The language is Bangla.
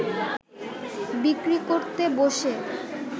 বিক্রি করতে বসে